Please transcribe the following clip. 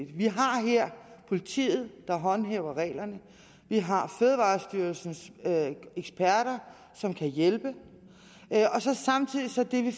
vi har her politiet der håndhæver reglerne og vi har fødevarestyrelsens eksperter som kan hjælpe samtidig er det